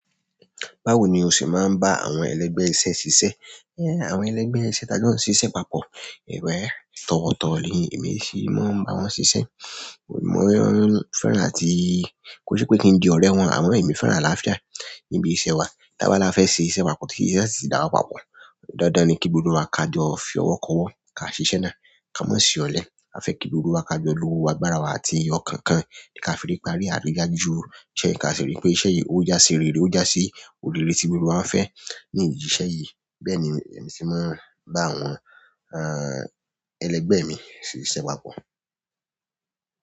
Báwo ni o ṣe maa n ba àwọn ẹlẹgbẹ iṣẹ́ ṣiṣẹ? Eh, àwọn ẹlẹgbẹ iṣẹ́ talo n ṣiṣẹ papọ̀. Ewa, tọwọtọwọ ni emi ṣi maa n ba wọn ṣiṣẹ. Mo ni wọn fẹ́ràn ti ko si pe ki n di ọrẹ wọn, àmọ emi fẹ́ràn àlàáfíà nibi iṣẹ́ wa. Tabala fẹ ṣe iṣẹ́ papọ̀ tí iṣẹ́ ṣi dá wa papọ̀. Dandan ni ki gbogbo wá ka jọ fí ọwọ ko ọwọ ka ṣiṣẹ náà ká máà ṣe ọlẹ. A fẹ kí gbogbo wa ka jọ lo agbára wa àti ọkan kan kafi parí adéga jù ọ. Se ka ríi pé iṣẹ́ yìí o jase rere, o jase olèré ti gbogbo wa fẹ ni ìdí iṣẹ́ yí. Bẹni èmi ṣe máa ń bá ẹlẹgbẹ mí ṣiṣẹ̀ papọ̀.